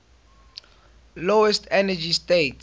lowest energy state